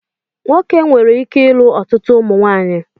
Nwoke nwere ike ịlụ ọtụtụ ụmụnwaanyị.